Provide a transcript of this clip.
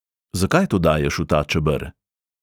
Zakaj to daješ v ta čeber?